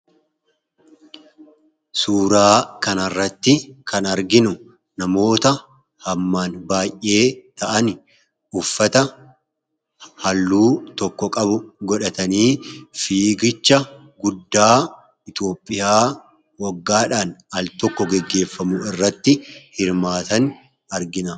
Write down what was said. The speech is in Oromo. Suuraa kanarratti kan arginu namoota hammaan baay'ee ta'ani, uffata halluu tokko qabu godhatani fiigicha guddaa Ithiyoopiyaa waggaadhan al-tokko geggeefamu irratti hirmaatan argina.